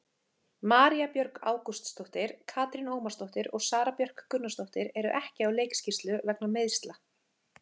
María Björg Ágústsdóttir, Katrín Ómarsdóttir og Sara Björk Gunnarsdóttir eru ekki á leikskýrslu vegna meiðsla.